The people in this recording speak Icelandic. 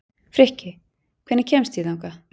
Frikki, hvernig kemst ég þangað?